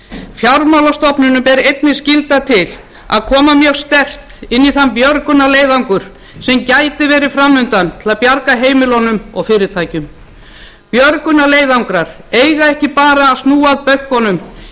fjármálastofnunum ber einnig skylda til að koma mjög sterkt inn í þann björgunarleiðangur sem gæti verið framundan til að bjarga heimilunum og fyrirtækjum björgunarleiðangrar eiga ekki bara að snúa að bönkunum í þeim